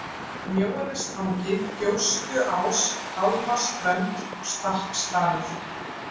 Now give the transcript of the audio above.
Mjóanestangi, Gjóstuás, Gálmaströnd, Stakksdalur